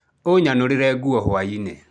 Ũnyanũrĩre nguo hwainĩ.